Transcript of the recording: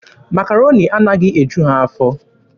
Makaroni anaghị eju ha afọ.